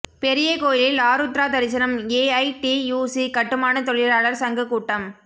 பெரிய கோயிலில் ஆருத்்ரா தரிசனம் ஏஐடியூசி கட்டுமான தொழிலாளர் சங்க கூட்டம்